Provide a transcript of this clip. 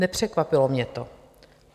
Nepřekvapilo mě to.